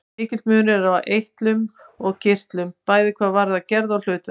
Mikill munur er á eitlum og kirtlum, bæði hvað varðar gerð og hlutverk.